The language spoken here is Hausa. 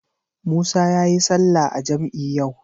Musa yayi sallah a jam'i yau.